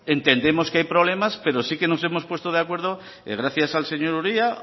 entendemos que hay problemas pero sí que nos hemos puesto de acuerdo gracias al señor uria